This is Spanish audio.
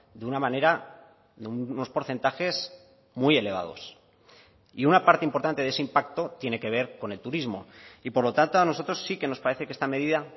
de una manera unos porcentajes muy elevados y una parte importante de ese impacto tiene que ver con el turismo y por lo tanto a nosotros sí que nos parece que esta medida